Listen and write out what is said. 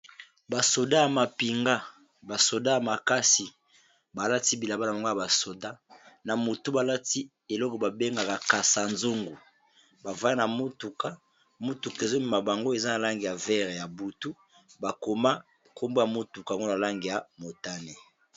Basoda ya mapinga, basoda ya makasi balati bilaba na mongo ya basoda na motu balati eloko babengaka kasazongu bavaya na motuka motuka ezomema bango eza na lange ya vere ya butu bakoma nkombwa ya motuka ngo na lange ya motane.